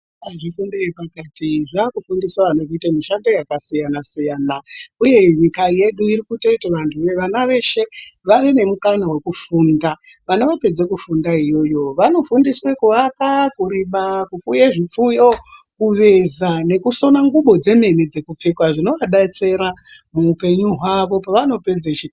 Zvifundo zvepakati zvaakufundise vantu kuite mishando yakasiyana siyana uye nyika yedu iri kutoti vana veshe vave nemukana wekufunda, kana vapedza kufunda iyoyo vanofundiswe kuyaka, kurima, kupfuye zvipfuyo ,kuveza nekusona nguvo dzemene dzekupfeka zvinovabetsera muhupenyu hwavo pavanopedze chikora.